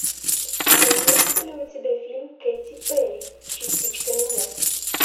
имеется ли у тебя фильм кэти перри частичка меня